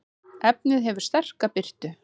efnið hefur sterka birtu